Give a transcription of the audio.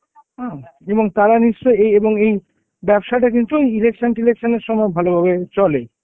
হম এবং তারা নিশ্চয়ই এই এবং এই ব্যবসাটা কিন্তু election টিলেকশনের সময় ভালোভাবে চলে.